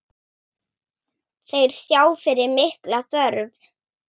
Þeir sjá fyrir mikla þörf.